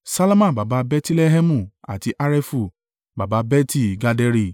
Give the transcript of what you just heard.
Salma baba Bẹtilẹhẹmu àti Harefu baba Beti-Gaderi.